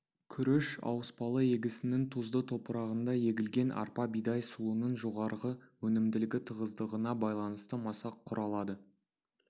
күріш ауыспалы егісінің тұзды топырағында егілген арпа бидай сұлының жоғары өнімділігі тығыздығына байланысты масақ құралады